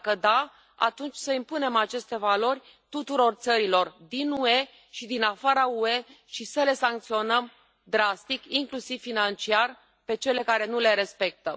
Dacă da, atunci să impunem aceste valori tuturor țărilor din UE și din afara UE și să le sancționăm drastic, inclusiv financiar, pe cele care nu le respectă.